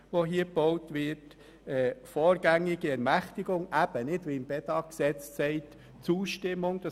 Es geht um eine vorgängige Ermächtigung und nicht um eine Zustimmung wie im Bedag-Gesetz.